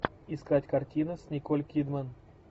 искать картины с николь кидман